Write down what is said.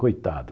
Coitado.